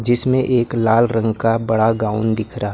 जिसमें एक लाल रंग का बड़ा गाउन दिख रहा--